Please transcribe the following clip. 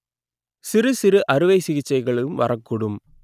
சிறுசிறு அறுவை சிகிச்சைகளும் வரக்கூடும்